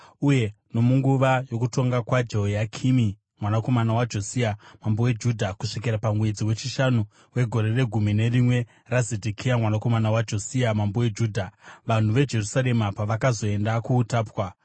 uye nomunguva yokutonga kwaJehoyakimi mwanakomana waJosia mambo weJudha, kusvikira pamwedzi wechishanu wegore regumi nerimwe raZedhekia mwanakomana waJosia mambo weJudha, vanhu veJerusarema pavakazoenda kuutapwa.